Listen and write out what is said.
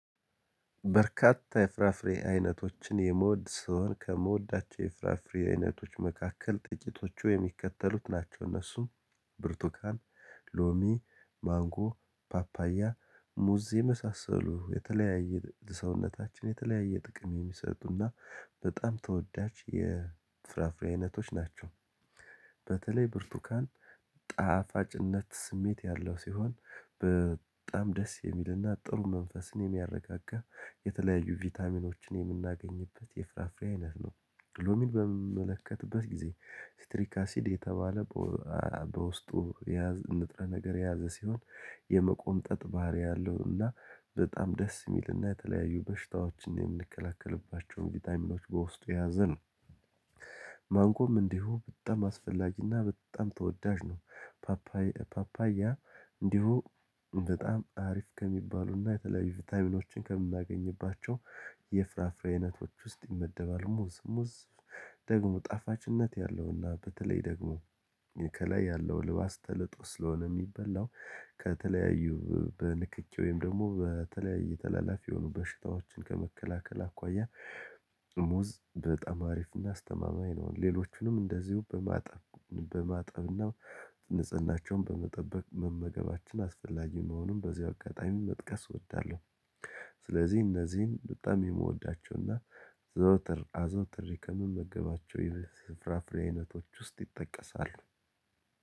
በርካታ የፍራፍሬ አይነቶችን የምወድ ስሆን ከምወዳቸው የፍራፍሬ አይነቶች መካከል ጥቂቶቹ የሚከተሉት ናቸው እነሱም ብርቱካን ሎሚ ማንጎ ፓፓያ ሙዝ የመሳሰሉ የተለያየ ሰውነታችን የተለያየ ጥቅም የሚሰጡና በጣም ተወዳጅ የፍራፍሬ አይነቶች ናቸው። በተለይ ብርቱካን ጣፋጭነት ስሜት ያለው ሲሆን በጣም ደስ የሚልና ጥሩ መንፈስን የሚያረጋጋ የተለያዩ ቫይታሚኖችን የምናገኝበት የፍራፍሬ አይነት ነው። ሎሚን በምመለከትበት ጊዜ ስትሪክ አሲድ የተባለ በውስጡ የያዝ ንጥረ ነገር የያዘ ሲሆን የመቆምጠጥ ባህሪ አለውና በጣም ደስ የሚልና የተለያዩ በሽታዎችን የምንከላከልባቸውን ቫይታይሚኖች በውስጡ የያዘ ነው። ማንጎም እንዲሁ በጣም አስፈላጊና በጣም ተወዳጅ ነው። ፓፓይ ፓፓያ እንዲሁ በጣም አሪፍ ከሚባሉና የተለያዩ ቫይራሚኖችን ከምናገኝባቸው የፍራፍሬ አይነቶች ውስጥ ይመደባሉ። ሙዝ ሙዝ ደግሞ ጣፋጭነት ያለውና በተለይ ደግሞ ከላይ ያለው ልባስ ተልጦ ስለሆነ የሚበላው ከተለያዩ በንክኪ ወይም ደግሞ በተለያየ ተላላፊ የሆኑ በሽታዎችን ከመከላከል አኳያ። ሙዝ በጣም አሪፍና አስተማማኝ ነው ሌሎችንም እንደዚሁ በማጠብና ንጽህናቸውን በመጠበቅ መመገባችን አስፈላጊ መሆኑን በዚህ አጋጣሚ መጥቀስ እወዳለሁ። ስለዚህ እነዚህን በጣም የምወዳቸውና ዘወትር አዘውትሬ ከምመገባቸው የፍራፍሬነቶች ውስጥ ይጠቀሳል።